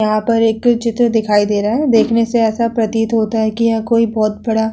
यहाँ पे एक चित्र दिखाई दे रहा है। देखने से ऐसा प्रतीत होता है कि यह कोई बहोत बड़ा --